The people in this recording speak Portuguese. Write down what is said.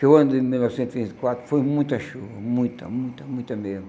Chegou o ano de mil novecentos e trinta e quatro, foi muita chuva, muita, muita, muita mesmo.